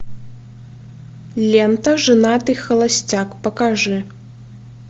лента женатый холостяк покажи